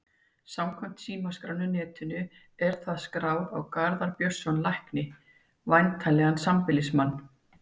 Samkvæmt símaskránni á netinu er það skráð á Garðar Björnsson lækni, væntanlega sambýlismann